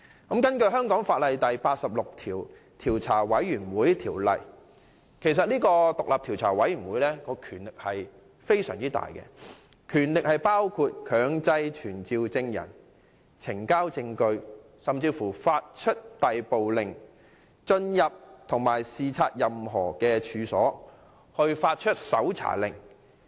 根據香港法例第86章《調查委員會條例》，調查委員會的權力很大，可以強制傳召證人、要求呈交證據、發出逮捕令，以及就進入及視察任何處所發出搜查令等。